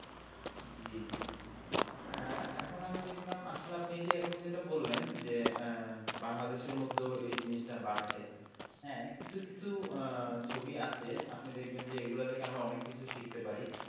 জি জি আহ এখন আমি দেখলাম আসলে আপনি এই যে এখন যেটা বললেন যে আহ বাংলাদেশের মধ্যে ও এই জিনিসটা বাড়ছে হ্যাঁ কিছু কিছু আহ ছবি আছে আপনি দেখবেন যে এইগুলা থেকে আমরা অনেক কিছু শিখতে পারি।